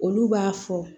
Olu b'a fɔ